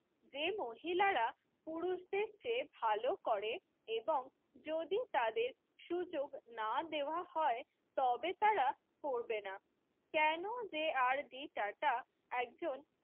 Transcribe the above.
যে মহিলারা পুরুষদের চেয়ে ভালো করে এবং যদি তাদের সুযোগ না দেওয়া হয় তবে তারা করবে না কেন যে আর ডি টাটা একজন